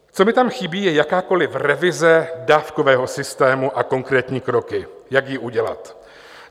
Co mi tam chybí, je jakákoliv revize dávkového systému a konkrétní kroky, jak ji udělat.